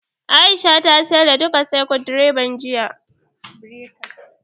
Aisha ta sayar da duka sakut birekan, jiya